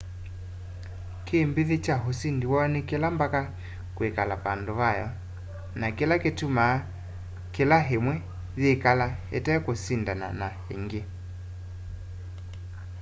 kĩmbĩthĩ kya ũsĩndĩ woo nĩ kĩla mbaka kwĩkala vando vayo na kĩla kĩtũmaa kĩla ĩmwe yĩkala ĩtekũsĩndana na ĩngĩ